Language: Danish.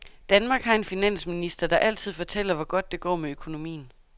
Danmark har en finansminister, der altid fortæller, hvor godt det går med økonomien.